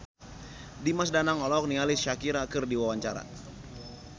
Dimas Danang olohok ningali Shakira keur diwawancara